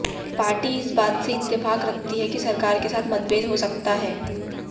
party इस बात से इत्तेफाक रखती है कि सरकार के साथ मतभेद हो सकता है